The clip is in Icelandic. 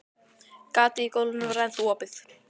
gatið í gólfinu var ennþá opið.